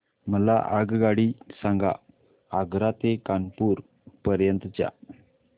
मला आगगाडी सांगा आग्रा ते कानपुर पर्यंत च्या